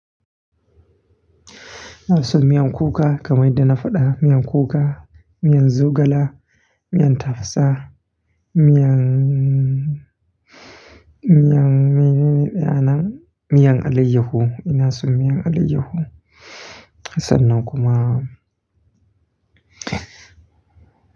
Ina son miyan kuka kamar yadda na faɗa, miyan kuka, miyan zogala, miyan tafasa, miyan, miyan Menene ɗayan nan, miyan alayyahu, ina son miyan alayyahu. Sannan kuma.